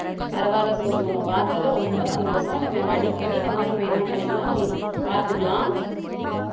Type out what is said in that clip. பரவாயில்லை சோபி உன்னை பார்த்ததுல ரொம்ப சந்தோஷம் நம்ம அடிக்கடி நம்ம என்ன பண்ணிக்கலாம் பார்த்துக்கலாம்